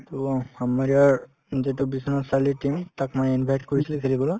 to আমাৰ ইয়াৰ যিটো বিশ্বনাথ চাৰিআলিৰ team তাত মানে invite কৰিছিলে হেৰিৰ পৰা